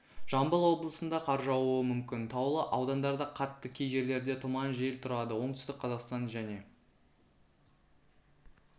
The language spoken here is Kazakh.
жамбыл облысында қар жаууы мүмкін таулы аудандарда қатты кей жерлерде тұман жел тұрады оңтүстік қазақстан және